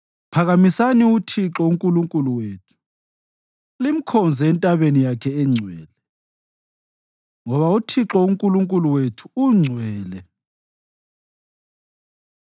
Phakamisani uThixo uNkulunkulu wethu, limkhonze entabeni yakhe engcwele, ngoba uThixo uNkulunkulu wethu ungcwele.